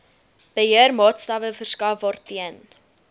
beheermaatstawwe verskaf waarteen